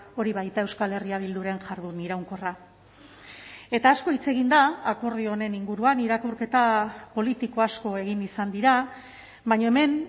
hori baita euskal herria bilduren jardun iraunkorra eta asko hitz egin da akordio honen inguruan irakurketa politiko asko egin izan dira baina hemen